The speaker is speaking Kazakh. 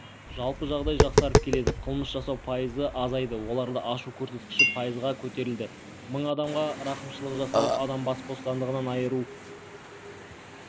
жалпы жағдай жақсарып келеді қылмыс жасау пайызға азайды оларды ашу көрсеткіші пайызға көтерілді мың адамға рақымшылық жасалып адам бас бостандығынан айыру